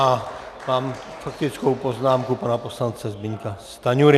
A mám faktickou poznámku pana poslance Zbyňka Stanjury.